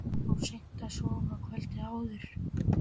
Hann fór seint að sofa kvöldið áður.